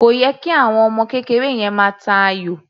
Kò yẹ kí àwọm ọmọ yẹn máa ta ayò.